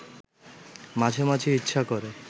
মাঝে মাঝে ইচ্ছা করে